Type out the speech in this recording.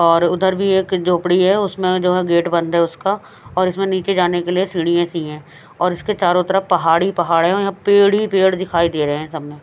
और उधर भी एक झोपड़ी है उसमें जो है गेट बंद है उसका और इसमें नीचे जाने के लिए सीढ़ियां सी हैं और इसके चारों तरफ पहाड़ ही पहाड़ हैं औ यहां पेड़ ही पेड़ दिखाई दे रहे हैं सामने।